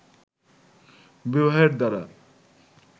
বিবাহের দ্বারা